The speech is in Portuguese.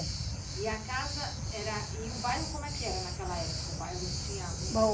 E a casa era, e o bairro como era naquela época? O bairro tinha muitas